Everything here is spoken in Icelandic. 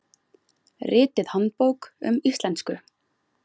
ritið handbók um íslensku